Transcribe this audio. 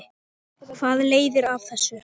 Hvað leiðir af þessu?